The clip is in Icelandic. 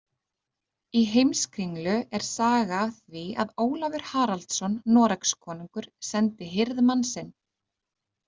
Í Heimskringlu er saga af því að Ólafur Haraldsson Noregskonungur sendi hirðmann sinn.